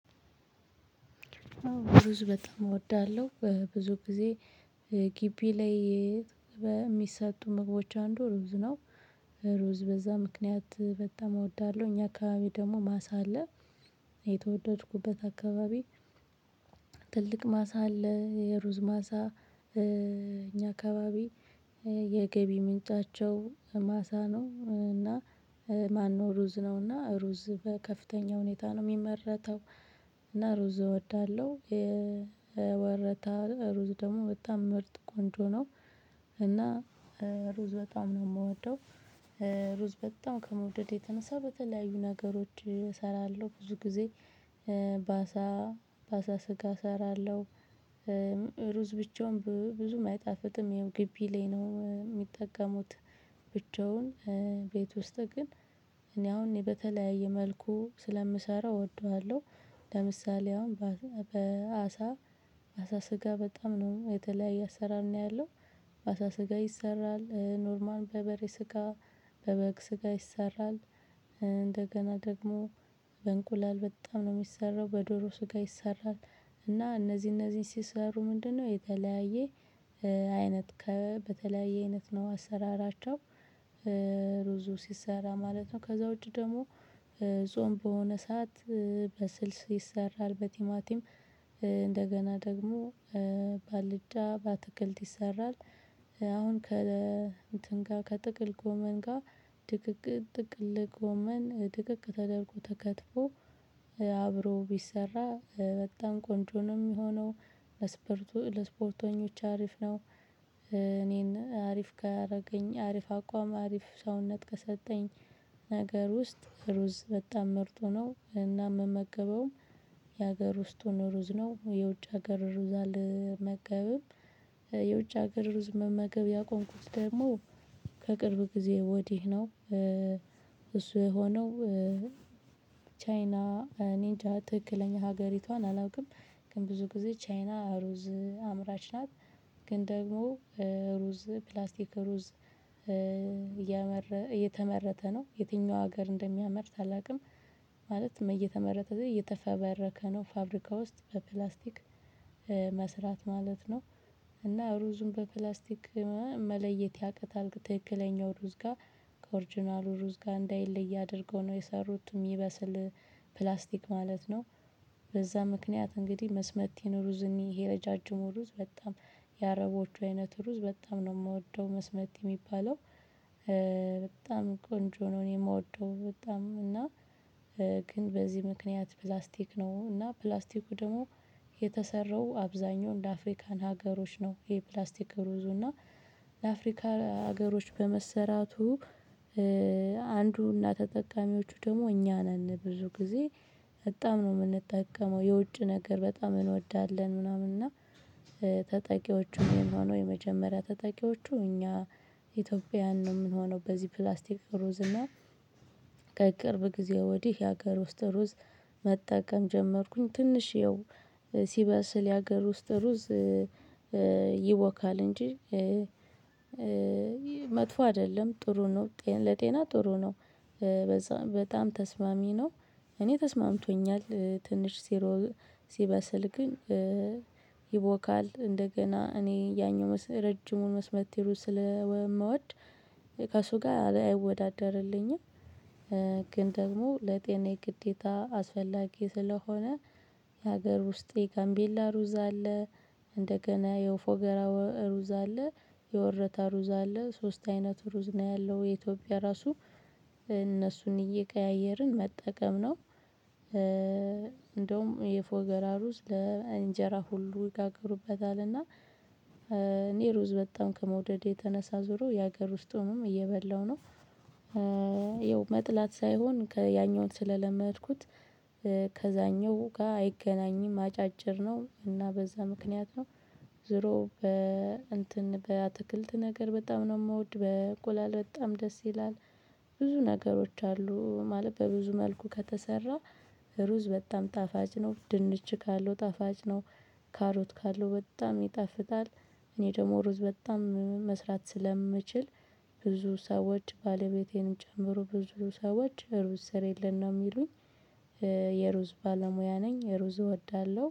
ብዙ በጣም እወዳለሁ በብዙ ጊዜ ግቢ ላይ የሚሰጡ መግቦች አንዱ ሩዝ ነው። ሩዝ በዛ ምክንያት በጣም እወዳለሁ እኛ አካባቢ ደግሞ ማሳ አለ። የተወለድኩበት አካባቢ። ትልቅ ማሳ አለ የሩዝ ማሳ እኛ አካባቢ የገቢ ምንጫቸው ማሳ ነው። እና ማነው ሩዝ ነው እና ሩዝ በከፍተኛ ሁኔታ ነው የሚመራተው። እና ሩዝ እወዳለሁ። የወረታ ሩዝ ደግሞ በጣም ምርጥ ቆንጆ ነው። እና ሩዝ በጣም ነው የምወደው። ሩዝ በጣም ከመውደድ የተነሳ በተለያዩ ነገሮች እሰራለሁ ብዙ ጊዜ። በአሳ አሳ ስጋ እሰራለሁ ሩዝ ብቻውን ብዙም አይጣፍጥም። ይኸው ግቢ ላይ ነው የሚጠቀሙት። ብቻውን ቤት ውስጥ ግን እኔ አሁን በተለያየ መልኩ ስለምሰራው እወደዋለሁ። ለምሳሌ አሁን በአሳ አሳ ስጋ በጣም ነው የተለያየ አሰራር ነው ያለው። አሳ ስጋ ይሰራል ኖርማል በበሬ ስጋ በበግ ስጋ ይሰራል። እንደገና ደግሞ በእንቁላል በጣም ነው የሚሰራው በዶሮ ስጋ ይሰራል። እና እነዚህ እነዚህ ሲሰሩ ምንድነው? የተለያየ አይነት በተለያየ አይነት ነው አሰራራቸው። ሩዙ ሲሰራ ማለት ነው ከዛ ውጪ ደግሞ ጾም በሆነ ሰዓት። በስልስ ይሰራል በቲማቲም እንደገና ደግሞ ባልጫ ባትክልት ይሰራል። አሁን ከእንትን ጋር ከጥቅል ጎመን ጋር ድቅቅ ጥቅል ጎመን ድቅቅ ተደርጎ ተከትፎ አብሮ ቢሰራ በጣም ቆንጆ ነው የሚሆነው። ለስፖርተኞች አሪፍ ነው። እኔን አሪፍ ካደረገኝ አሪፍ አቋም አሪፍ ሰውነት ከሰጠኝ። ነገር ውስጥ ሩዝ በጣም ምርጡ ነው እና የምመገበውም። የሀገር ውስጡን ሩዝ ነው የውጭ ሀገር ሩዝ አልመገብም። የውጭ ሀገር ሩዝ መመገብ ያቆምኩት ደግሞ ከቅርብ ጊዜ ወዲህ ነው። እሱ የሆነው። ቻይና እኔ እጃ ትክክለኛ ሀገሪቷን አላውቅም። ግን ብዙ ጊዜ ቻይና ሩዝ አምራች ናት። ግን ደግሞ ሩዝ ፕላስቲክ ሩዝ እያመረ እየተመረተ ነው የትኛው ሀገር እንደሚያመር አላቅም። ማለት እየተመረተ እየተፈበረከ ነው ፋብሪካ ውስጥ በፕላስቲክ መስራት ማለት ነው። እና ሩዙን በፕላስቲክ መለየት ያቅታል ትክክለኛው ሩዝ ጋር ከኦርጅናሉ ሩዝ ጋር እንዳይለይ አድርጎ ነው የሰሩት የሚበስል ፕላስቲክ ማለት ነው። በዛ ምክንያት እንግዲህ መስመት ይኑሩዝን ይሄ ረጃጅሙ ሩዝ በጣም የአረቦቹ አይነት ሩዝ በጣም ነው የምወደው መስመጢ የሚባለው። በጣም ቆንጆ ነው የምወደው። በጣም እና ግን በዚህ ምክንያት ፕላስቲክ ነው እና ፕላስቲኩ ደግሞ የተሰራው አብዛኛው እንደ አፍሪካን ሀገሮች ነው ይሄ ፕላስቲክ ሩዙ እና ለአፍሪካ ሀገሮች በመሰራቱ። አንዱና ተጠቃሚዎቹ ደግሞ እኛ ነን ብዙ ጊዜ በጣም ነው የምንጠቀመው። የውጭ ነገር በጣም እንወዳለን ምናምን እና ተጠቂዎቹ የሆኑ የመጀመሪያ ተጠቂዎቹ እኛ ኢትዮጵያውያን ነው የምንሆነው። በዚህ ፕላስቲክ ሩዝ እና ከቅርብ ጊዜ ወዲህ የሀገር ውስጥ ሩዝ መጠቀም ጀመርኩኝ ትንሽየው። ሲበስል የሀገር ውስጥ ሩዝ ይቦካል እንጂ መጥፎ አይደለም ጥሩ ነው ለጤና ጥሩ ነው። በጣም ተስማሚ ነው። እኔ ተስማምቶኛል ትንሽ ሲሮ ሲበሰል ግን ይቦካል እንደገና እኔ ያኛው ረጅሙን መስመጥ ሩዝ ስለምወድ ከሱ ጋር አይወዳደርልኝም። ግን ደግሞ ለጤናዬ ግዴታ አስፈላጊ ስለሆነ የሀገር ውስጥ የጋምቤላ ሩዝ አለ። እንደገና የፎገራ ሩዛ አለ። የወረታ ሩዛ አለ ሶስት አይነት ሩዝ ነው ያለው የኢትዮጵያ ራሱ እነሱን እየቀያየርን መጠቀም ነው። እንደውም የፎገራ ሩዝ ለእንጀራ ሁሉ ይጋግሩበታልና እኔ ሩዝ በጣም ከመውደድ የተነሳ ዞሮ የሀገር ውስጥ ሆኖም እየበላው ነው። ይኸው መጥላት ሳይሆን ያኛውን ስለለመድኩት። ከዛኛው ጋር አይገናኝም አጫጭር ነው እና በዛ ምክንያት ነው። ዙሮ በ እንትን በአትክልት ነገር በጣም ነው የምወድ በእንቁላል በጣም ደስ ይላል። ብዙ ነገሮች አሉ ማለት በብዙ መልኩ ከተሰራ ሩዝ በጣም ጣፋጭ ነው ድንች ካለው ጣፋጭ ነው። ካሮት ካለው በጣም ይጣፍጣል። እኔ ደግሞ ሩዝ በጣም መስራት ስለምችል ብዙ ሰዎች ባለቤቴን ጨምሮ ብዙ ሰዎች ሩዝ ስሪልን ነው የሚሉኝ። የሩዝ ባለሙያ ነኝ ሩዝ እወዳለሁ